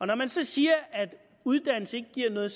når man så siger at uddannelse ikke giver noget